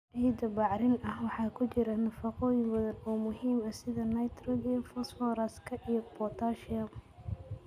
Ciidda bacrin ah waxaa ku jira nafaqooyin badan oo muhiim ah sida nitrogen, fosfooraska iyo potassium.